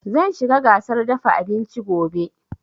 Zan shiga gasar dafa abinci gobe